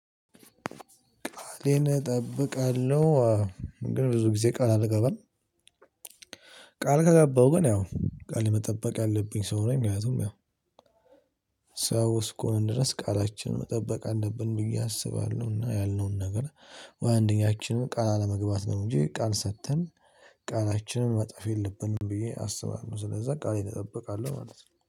ቃሌን እጠብቃለሁ አው ግን ብዙ ጊዜ ቃል አልገባም። ቃል ከገባው ግን ያው ቃል መጠበቅ ያለብኝ ሰው ነው። ምክንያቱም ያው ሰው እስኮሆን ድረስ ቃላችን መጠበቅ አለብን ብዬ አስባለሁና ያልነውን ነገር ወይ አንደኛችንን ቃል አለመግባት ነው እንጂ ቃል ሰጥተን ቃላችንን መጠፍ የለብንም ብዬ አስባለሁ። ስለዚያ ቃሌን እጠብቃለሁ ማለት ነው